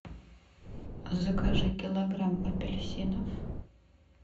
закажи килограмм апельсинов